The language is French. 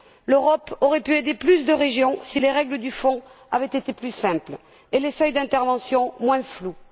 L'Europe aurait pu aider plus de régions si les règles du Fonds avaient été plus simples et les seuils d'interventions moins flous.